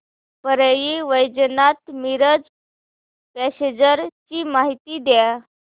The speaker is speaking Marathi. परळी वैजनाथ मिरज पॅसेंजर ची माहिती द्या